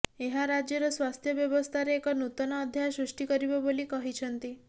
ଏହା ରାଜ୍ୟର ସ୍ୱାସ୍ଥ୍ୟ ବ୍ରବସ୍ଥାରେ ଏକ ନୂତନ ଅଧ୍ୟାୟ ସୃଷ୍ଟି କରିବ ବୋଲି କହିଛନ୍ତି